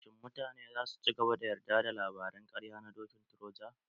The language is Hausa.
Shin mutane zasu cigaba da yarda da labaran ƙarya na dokin troja?